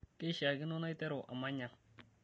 keishaakino naiteru amany ang'